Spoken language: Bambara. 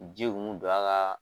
Ji kun bi don a ka